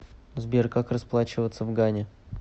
сбер как расплачиваться в гане